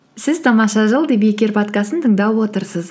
сіз тамаша жыл подкастын тыңдап отырсыз